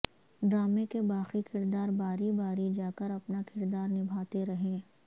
ڈرامے کے باقی کردار باری باری جاکر اپنا کردار نبھاتے رہے